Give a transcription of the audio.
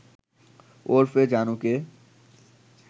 ওরফে জানুকে